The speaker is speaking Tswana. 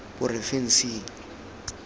porofensing